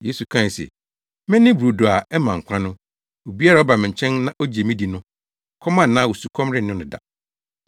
Yesu kae se, “Mene brodo a ɛma nkwa no. Obiara a ɔba me nkyɛn na ogye me di no, ɔkɔm anaa osukɔm renne no da.